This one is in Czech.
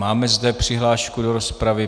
Máme zde přihlášku do rozpravy.